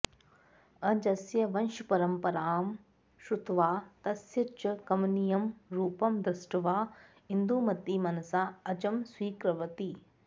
अजस्य वंशपरम्परां श्रुत्वा तस्य च कमनीयं रूपं दृष्ट्वा इन्दुमती मनसा अजं स्वीकृवती